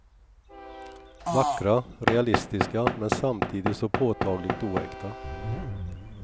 Vackra, realistiska men samtidigt så påtagligt oäkta.